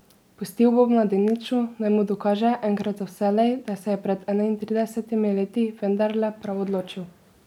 Pustil bo mladeniču, naj mu dokaže, enkrat za vselej, da se je pred enaintridesetimi leti vendarle prav odločil.